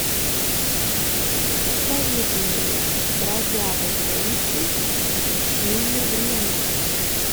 посоветуй мне бродяга кэнсин течение времени